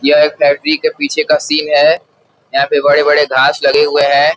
यह एक फैक्ट्री के पीछे का सीन है। यहाँ पर बड़े-बड़े घास लगे हुए हैं।